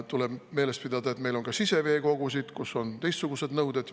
Tuleb meeles pidada, et meil on ka siseveekogusid, kus on teistsugused nõuded.